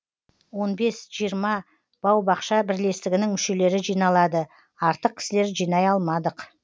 он бес жиырма баубақша бірлестігінің мүшелері жиналады артық кісілер жинай алмадық